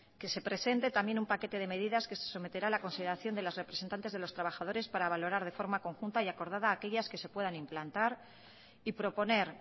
que se presente también un paquete de medidas que se someterá a la consideración de los representantes de los trabajadores para valorar de forma conjunta y acordada a aquellas que se puedan implantar y proponer